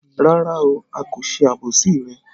Rárá o, a kò ṣe àbòsí rẹ